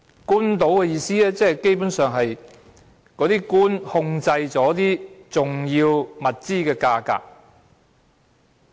官倒的意思，基本上，即是官員控制重要物資的價格。